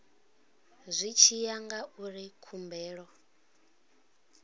zwi tshi ya ngauri khumbelo